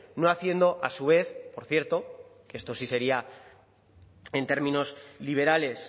no haciendo a su vez por cierto que esto sí sería en términos liberales